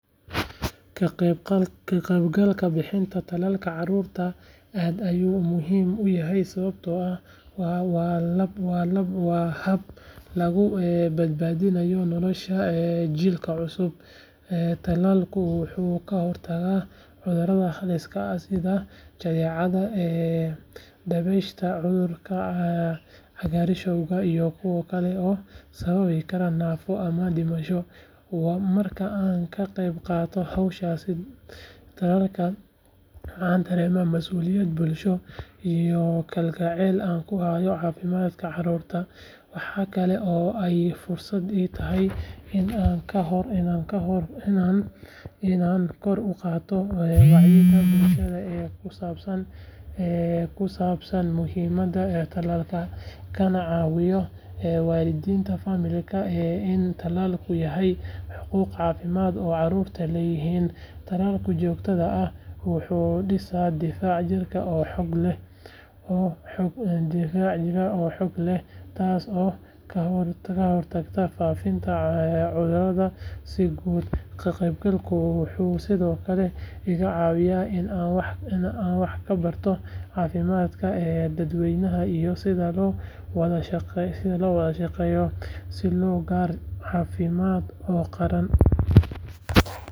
Ka qaybgalka bixinta tallaalka carruurta aad ayuu ii muhiim u yahay sababtoo ah waa hab lagu badbaadiyo nolosha jiilka cusub. Tallaalku wuxuu ka hortagaa cudurro halis ah sida jadeecada, dabaysha, cudurka cagaarshowga iyo kuwo kale oo sababi kara naafo ama dhimasho. Marka aan ka qayb qaato howlaha tallaalka, waxaan dareemaa masuuliyad bulsho iyo kalgacal aan u hayo caafimaadka carruurta. Waxa kale oo ay fursad ii tahay in aan kor u qaado wacyiga bulshada ee ku saabsan muhiimadda tallaalka, kana caawiyo waalidiinta fahamka in tallaalku yahay xuquuq caafimaad oo carruurtu leeyihiin. Tallaalka joogtada ah wuxuu dhisaa difaac jirka oo xoog leh, taas oo ka hortagta faafidda cudurrada si guud. Ka qaybgalkeyga wuxuu sidoo kale iga caawinayaa in aan wax ka barto caafimaadka dadweynaha iyo sida loo wada shaqeeyo si loo gaaro yool caafimaad oo qaran.